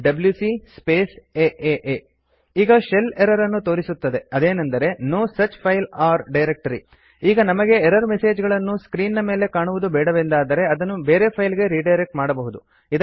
ಈಗ shell error ಅನ್ನು ತೋರಿಸುತ್ತದೆ ಅದೇನೆಂದರೆ no such file or directory ಇಂಥಹ ಯಾವುದೇ ಫೈಲ್ ಅಥವಾ ಡೈರೆಕ್ಟ್ ರಿ ಅಸ್ತಿತ್ವದಲ್ಲಿ ಇಲ್ಲ ಈಗ ನಮಗೆ ಎರರ್ ಮೆಸೇಜ್ ಗಳನ್ನು ಸ್ಕ್ರೀನ್ ನ ಮೇಲೆ ಕಾಣುವುದು ಬೇಡವೆಂದಾದರೆ ಅದನ್ನು ಬೇರೆ ಫೈಲ್ ಗೆ ರಿಡೈರೆಕ್ಟ್ ಮಾಡಬಹುದು